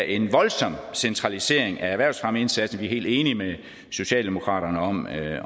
en voldsom centralisering af erhvervsfremmeindsatsen vi er helt enige med socialdemokratiet